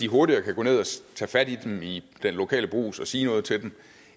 hurtigere kan gå ned og tage fat i dem i den lokale brugs og sige noget til dem